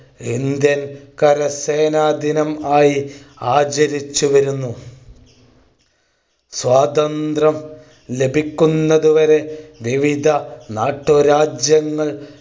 Indian കരസേനാ ദിനം ആയി ആചരിച്ചുവരുന്നു സ്വാതന്ത്രം ലഭിക്കുന്നതുവരെ വിവിധ നാട്ടു രാജ്യങ്ങൾ